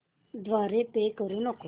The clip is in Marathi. द्वारे पे करू नको